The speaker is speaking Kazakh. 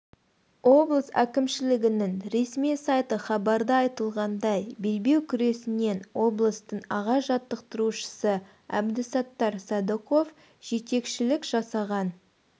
облыс әкімшілігінің ресми сайты хабарда айтылғандай белбеу күресінен облыстың аға жаттықтырушысы әбдісаттар садықов жетекшілік жасаған